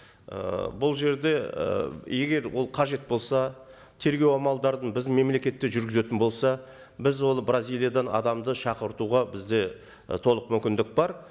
ыыы бұл жерде ы егер ол қажет болса тергеу амалдарын біздің мемлекетте жүргізетін болса біз оны бразилиядан адамды шақыртуға бізде і толық мүмкіндік бар